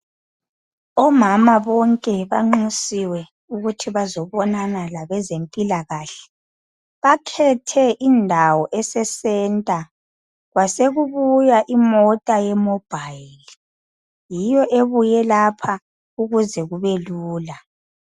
Omama bonke banxusiwe ukuthi bazobonana labezempilakahle. Bakhethe indawo eseCentre kwasekubuya imota yemobile. Yiyo ebuye lapha ukuze kubelula.